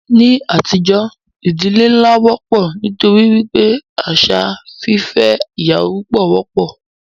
Ní àtijọ́, ìdílé nlá wọ́pọ̀ nítorí wípé àṣà fífẹ́ ìyàwó púpọ wọ́pọ̀.